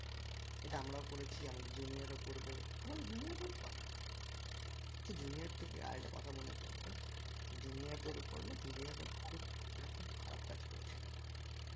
এটা আমরাও করেছি আমাদের junior ও করবে আমাদের junior রাও করে সেই junior থেকে আর একটা কথা মনে পড়লো junior দের উপর না junior রা খুব একটা খুব খারাপ কাজ করেছিল